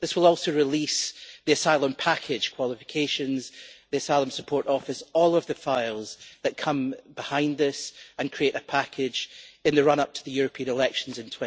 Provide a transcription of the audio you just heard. This will also release the asylum package qualifications, the Asylum Support Office, and all of the files that come behind this and create a package in the run-up to the European elections in